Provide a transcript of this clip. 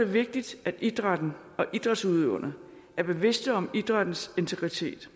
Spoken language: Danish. vigtigt at idrætten og idrætsudøverne er bevidste om idrættens integritet